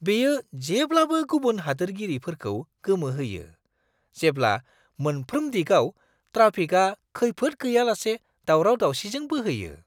बेयो जेब्लाबो गुबुन हादोरारिफोरखौ गोमोहोयो, जेब्ला मोनफ्रोम दिगाव ट्राफिकआ खैफोद गैयालासे दावराव-दावसिजों बोहैयो।